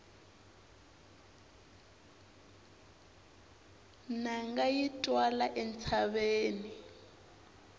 nanga yi twala entshaveni